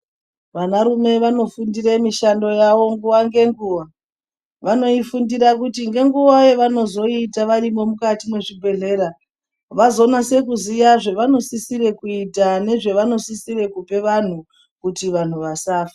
Vana rume vanofundire mishando yavo nguva nenguva. Vanoifundira kuti nenguva yavanozoiita varimwo mukati mwezvibhedhlera. Vazonase kuziya zvavanosisire kuita nezvevanosisire kupa vantu kuti vantu vasafe.